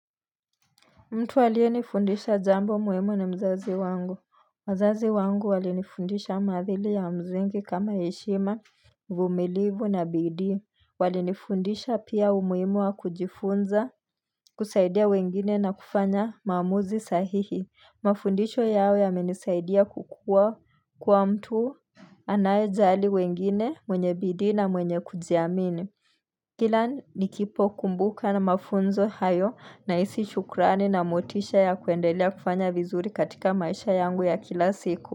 Mtu aliyenifundisha jambo muhimu ni mzazi wangu wazazi wangu walinifundisha maadili ya msingi kama heshima, uvumilivu na bidii Walinifundisha pia umuhimu wa kujifunza, kusaidia wengine na kufanya maamuzi sahihi Mafundisho yao yamenisaidia kukua kuwa mtu anayejali wengine, mwenye bidii na mwenye kujiamini Kila nikipokumbuka na mafunzo hayo nahisi shukurani na motisha ya kuendelea kufanya vizuri katika maisha yangu ya kila siku.